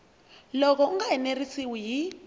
loko u nga enerisiwi hi